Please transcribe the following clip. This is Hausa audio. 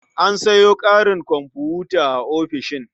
An sayo ƙarin komfuta a ofishin.